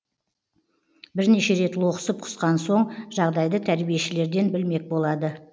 бірнеше рет лоқсып құсқан соң жағдайды тәрбиешілерден білмек болады